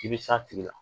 I bɛ s'a tigi la